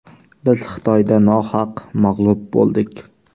Biz Xitoyda nohaq mag‘lub bo‘ldik.